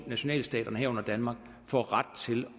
nationalstaterne herunder danmark får ret til